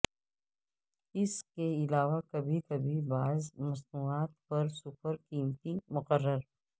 اس کے علاوہ کبھی کبھی بعض مصنوعات پر سپر قیمتیں مقرر